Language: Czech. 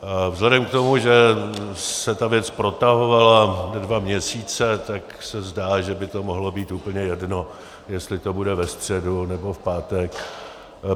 Vzhledem k tomu, že se ta věc protahovala dva měsíce, tak se zdá, že by to mohlo být úplně jedno, jestli to bude ve středu, nebo v pátek.